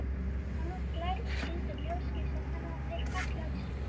Hann er glær og brýtur ljósgeisla þannig að þeir falli á sjónu.